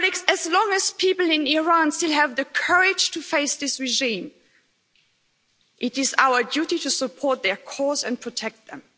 As long as people in Iran still have the courage to face this regime, it is our duty to support their cause and protect them.